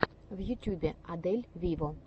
в ютюбе адель виво